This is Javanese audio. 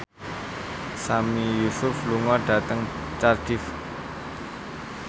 Sami Yusuf lunga dhateng Cardiff